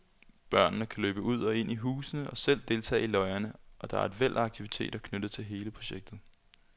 Børnene kan løbe ud og ind i husene og selv deltage i løjerne, og der er et væld af aktiviteter knyttet til hele projektet.